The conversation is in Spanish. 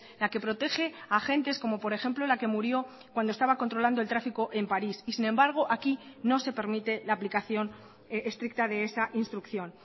la que protege a agentes como por ejemplo la que murió cuando estaba controlando el tráfico en paris y sin embargo aquí no se permite la aplicación estricta de esa instrucción